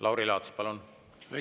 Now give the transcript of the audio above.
Lauri Laats, palun!